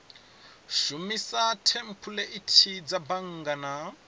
shumisa thempuleithi dza bannga na